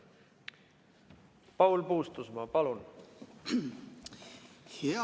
Paul Puustusmaa, palun!